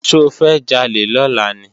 Ṣofẹ́ jalè lọ́la ni?